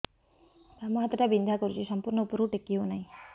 ବାମ ହାତ ଟା ବିନ୍ଧା କରୁଛି ସମ୍ପୂର୍ଣ ଉପରକୁ ଟେକି ହୋଉନାହିଁ